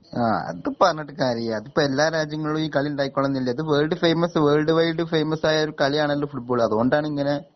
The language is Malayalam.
ആ അത് പറഞ്ഞിട്ട് കാര്യല്ല അത്പ്പെല്ലാ രാജ്യങ്ങളിലും ഈ കളി ഇണ്ടായിക്കൊള്ളണമെന്നില്ല ഇത് world famous world wide famous ആയൊരു കളിയാണല്ലോ ഫുട്‌ബോൾ അതോണ്ടാണിങ്ങനെ